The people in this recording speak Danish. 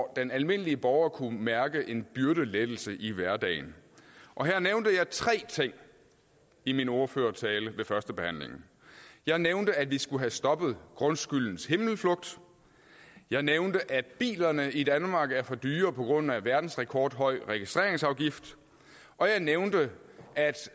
den almindelige borger kan mærke en byrdelettelse i hverdagen og her nævnte jeg tre ting i min ordførertale ved førstebehandlingen jeg nævnte at vi skulle have stoppet grundskyldens himmelflugt jeg nævnte at bilerne i danmark er for dyre på grund af verdensrekordhøj registreringsafgift og jeg nævnte